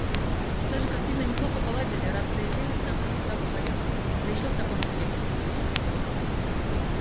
даже как видно неплохо поладили раз заявились сюда вдвоём да ещё в таком виде